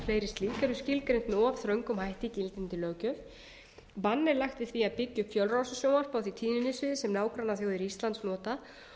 fleiri slík eru skilgreind með of þröngum hætti í gildandi löggjöf bann er lagt til að byggja upp fjölrásasjónvarp á því tíðnisviði sem nágrannaþjóðir íslands nota